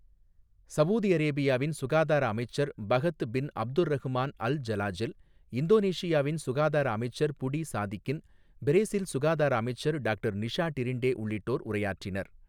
Saudi அரேபியாவின் சுகாதார அமைச்சர் Fahad bin Abdulrahman Al Jalajel, இந்தோனேஷியாவின் சுகாதார அமைச்சர் புடி சாதிகின், பிரேசில் சுகாதார அமைச்சர் டாக்டர் நிஷா டிரின்டே உள்ளிட்டோர் உரையாற்றினர்.